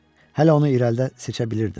Hələ onu irəlidə seçə bilirdim.